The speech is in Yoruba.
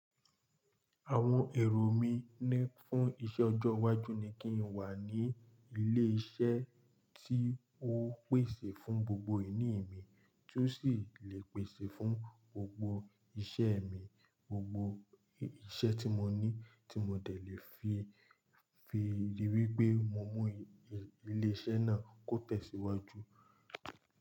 Àwọn èrò mí ní fún iṣẹ́ ọjọ́ iwájú ni kí n wà ní ilé iṣẹ́ tí ó pèsè fún gbogbo ìní mi tí ó sì le pèsè fún gbogbo iṣẹ́ mi, gbogbo iṣẹ́ tí mo ní tí mo dé lè fi fi rí wí pé mo mú ilé iṣẹ́ náà kó tẹ̀síwájú.